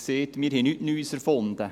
Wir haben nichts Neues erfunden.